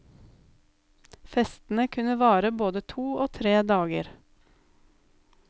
Festene kunne vare både to og tre dager.